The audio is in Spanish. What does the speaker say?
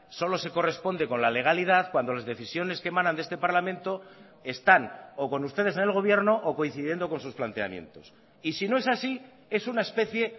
solo se corresponde con la legalidad cuando las decisiones que emanan de este parlamento están o con ustedes en el gobierno o coincidiendo con sus planteamientos y si no es así es una especie